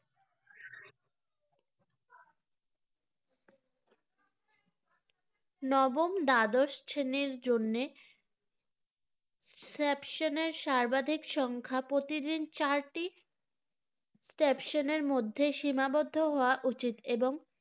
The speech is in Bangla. নবম দ্বাদশ শ্রেণির জন্য secession এর সর্বাধিক সংখ্যা প্রতিদিন চারটি secession এর মধ্যে সীমাবদ্ধ হওয়া উচিত এবং